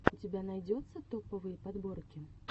у тебя найдется топовые подборки